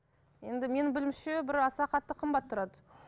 енді менің білуімше бір аса қатты қымбат тұрады